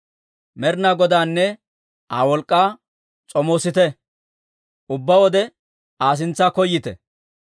Med'inaa Godaanne Aa wolk'k'aa s'omoosite; ubbaade Aa sintsa koyyite.